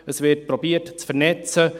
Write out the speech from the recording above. Es wird versucht zu vernetzen.